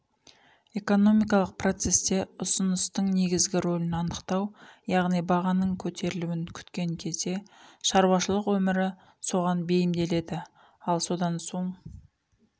экономикалық процесте ұсыныстың негізгі рөлін анықтау яғни бағаның көтерілуін күткен кезде шаруашылық өмірі соған бейімделеді ал содан соң